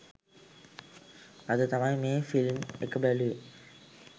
අද තමයි මේ ෆිල්ම් ඒක බැලුවේ